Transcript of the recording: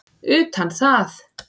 utan það.